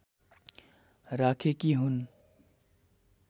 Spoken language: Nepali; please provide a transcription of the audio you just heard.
राखेकी हुन्